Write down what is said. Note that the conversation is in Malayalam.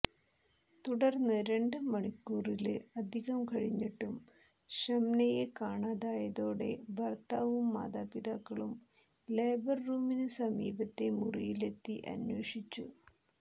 തുടര്ന്ന് രണ്ട് മണിക്കൂറില് അധികം കഴിഞ്ഞിട്ടും ഷംനയെ കാണാതായതോടെ ഭര്ത്താവും മാതാപിതാക്കളും ലേബര് റൂമിന് സമീപത്തെ മുറിയിലെത്തി അന്വേഷിച്ചു